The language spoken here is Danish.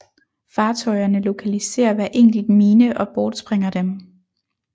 Fartøjerne lokaliserer hver enkelt mine og bortsprænger dem